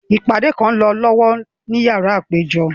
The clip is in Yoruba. Ipade kan ń lọ lọwọ ni yara apejọ.